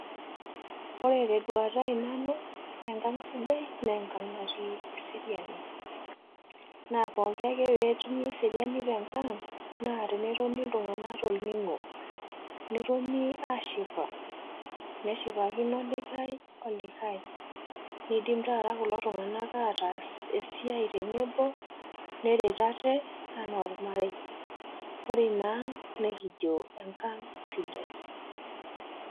Ore tenduata ai nanu enkang' sidai naa enkang' natii eseriani. Naa pooki ake peetumi eseriani tenkang naa tenetoni iltung'ana tolning'o. Netoni aashipa neshipakino olikai olikai, neidim taata kulo tung'ana ataas esiai tenebo neret ate anaaolmarei. Ore inaang' nekijo enkang' sidai.